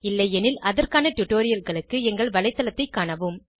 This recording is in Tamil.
இல்லையெனில் அதற்கான டுடோரியல்களுக்கு எங்கள் வலைத்தளத்தைக் காணவும்